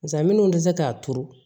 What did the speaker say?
Nka minnu tɛ se k'a turu